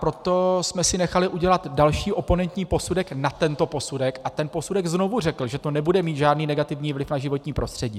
Proto jsme si nechali udělat další oponentní posudek na tento posudek a ten posudek znovu řekl, že to nebude mít žádný negativní vliv na životní prostředí.